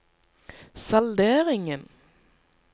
salderingen